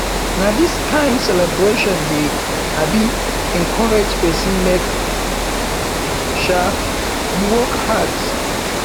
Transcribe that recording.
na dis kain celebration dey um encourage pesin make um e work hard